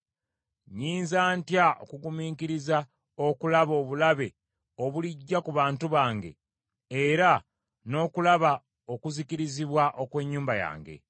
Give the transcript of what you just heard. Nnyinza ntya okugumiikiriza okulaba obulabe obulijja ku bantu bange, era n’okulaba okuzikirizibwa okw’ennyumba yange?”